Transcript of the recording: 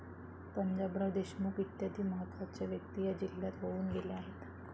पंजाबराव देशमुख इत्यादी महत्वाच्या व्यक्ती या जिल्ह्यात होऊन गेल्या आहेत.